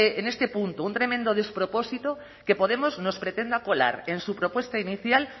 en este punto un tremendo despropósito que podemos nos pretenda colar en su propuesta inicial